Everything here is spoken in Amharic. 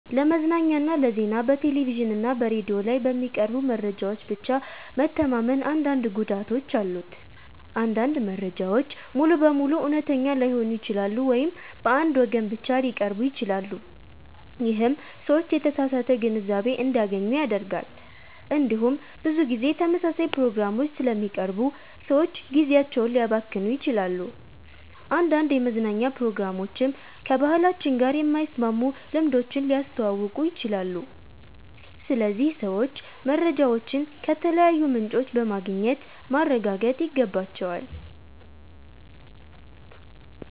ለመዝናኛና ለዜና በቴሌቪዥን እና በሬዲዮ ላይ በሚቀርቡ መረጃዎች ብቻ መተማመን አንዳንድ ጉዳቶች አሉት። አንዳንድ መረጃዎች ሙሉ በሙሉ እውነተኛ ላይሆኑ ይችላሉ ወይም በአንድ ወገን ብቻ ሊቀርቡ ይችላሉ። ይህም ሰዎች የተሳሳተ ግንዛቤ እንዲያገኙ ያደርጋል። እንዲሁም ብዙ ጊዜ ተመሳሳይ ፕሮግራሞች ስለሚቀርቡ ሰዎች ጊዜያቸውን ሊያባክኑ ይችላሉ። አንዳንድ የመዝናኛ ፕሮግራሞችም ከባህላችን ጋር የማይስማሙ ልምዶችን ሊያስተዋውቁ ይችላሉ። ስለዚህ ሰዎች መረጃዎችን ከተለያዩ ምንጮች በማግኘት ማረጋገጥ ይገባቸዋል።